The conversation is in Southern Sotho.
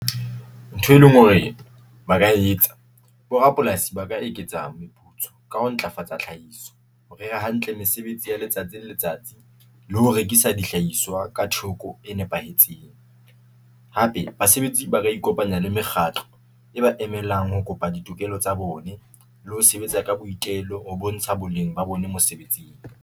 Ntho e leng hore ba ka e etsa bo rapolasi ba ka eketsa meputso ka ho ntlafatsa tlhahiso hore hantle mesebetsi ya letsatsi le letsatsi le ho rekisa dihlahiswa ka theko e nepahetseng. Hape basebetsi ba ra ikopanya le mekgatlo e ba emelang ho kopa ditokelo tsa bone le ho sebetsa ka boitelo ho bontsha boleng ba bone mosebetsing.